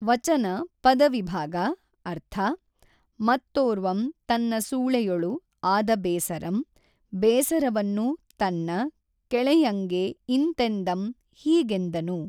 ವಚನ ಪದವಿಭಾಗ ಅರ್ಥ ಮತ್ತೊರ್ವಂ ತನ್ನ ಸೂಳೆಯೊಳು ಆದ ಬೇಸಱಂ ಬೇಸರವನ್ನು ತನ್ನ ಕೆಳೆಯಂಗೆ ಇಂತೆಂದಂ ಹೀಗೆಂದನು